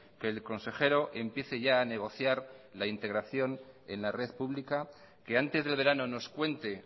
que el consejero empiece ya a negociar la integración en la red pública que antes del verano nos cuente